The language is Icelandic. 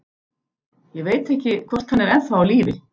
Ég veit ekki, hvort hann er ennþá á lífi.